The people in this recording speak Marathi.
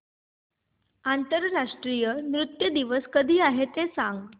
आंतरराष्ट्रीय नृत्य दिवस कधी आहे ते सांग